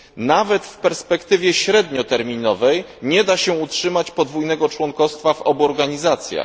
Nawet w perspektywie średnioterminowej nie da się utrzymać podwójnego członkostwa w obu organizacjach.